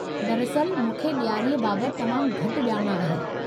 दरिअस्ल मूंखे ॾियारीअ बाबतु तमामु घटि ॼाण आहे।